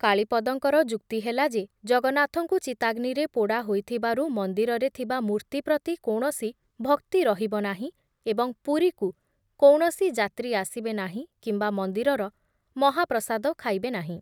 କାଳୀପଦଙ୍କର ଯୁକ୍ତି ହେଲା ଯେ ଜଗନ୍ନାଥଙ୍କୁ ଚିତାଗ୍ନିରେ ପୋଡ଼ା ହୋଇଥିବାର ମନ୍ଦିରରେ ଥିବା ମୂର୍ତ୍ତି ପ୍ରତି କୌଣସି ଭକ୍ତି ରହିବ ନାହିଁ ଏବଂ ପୁରୀକୁ କୌଣସି ଯାତ୍ରୀ ଆସିବେ ନାହିଁ କିମ୍ବା ମନ୍ଦିରର ମହାପ୍ରସାଦ ଖାଇବେ ନାହିଁ ।